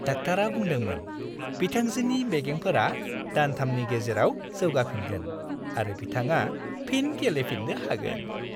डाक्टारा बुंदोंमोन - बिथांजोनि बेगेंफोरा दानथामनि गेजेराव जौगाफिनगोन आरो बिथांआ फिन गेलेनोफिन्नो हागोन।